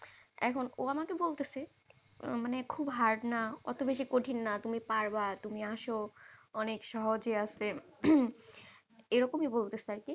এখন ও আমাকে বলতেছে, মানে খুব hard না অত বেশি কঠিন না। তুমি পারবা, তুমি আসো অনেক সহজেই আছে। এই রকমই বলতেছে আর কি।